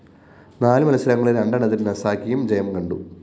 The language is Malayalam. നാലു മത്സരങ്ങളില്‍ രണ്ടെണ്ണത്തില്‍ സസാകിയും ജയം കണ്ടു